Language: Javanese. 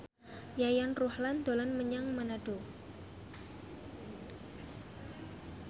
Yayan Ruhlan dolan menyang Manado